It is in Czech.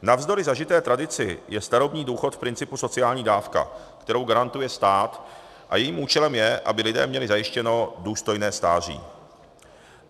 Navzdory zažité tradici je starobní důchod v principu sociální dávka, kterou garantuje stát, a jejím účelem je, aby lidé měli zajištěno důstojné stáří.